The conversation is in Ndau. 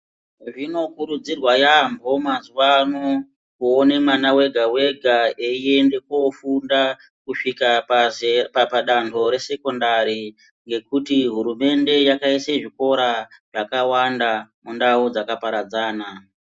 Zvinokurudzirwa yambo mazuwa ano kuone mwana wega wega eiende kofunda kusvika pazera padando resekondari ngekuti hurumende yakaise zvikora zvakawanda mundau dzakaparadzana.